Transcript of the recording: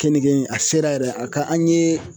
Keninge in a sera yɛrɛ a ka an ye